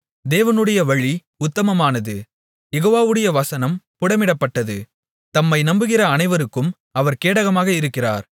தேவனுடைய வழி உத்தமமானது யெகோவாவுடைய வசனம் புடமிடப்பட்டது தம்மை நம்புகிற அனைவருக்கும் அவர் கேடகமாக இருக்கிறார்